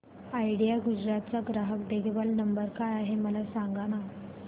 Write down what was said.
idea Gujarat चा ग्राहक देखभाल नंबर काय आहे मला सांगाना